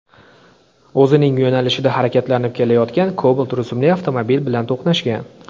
o‘zining yo‘nalishida harakatlanib kelayotgan Cobalt rusumli avtomobil bilan to‘qnashgan.